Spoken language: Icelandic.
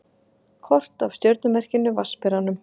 Kort af stjörnumerkinu Vatnsberanum.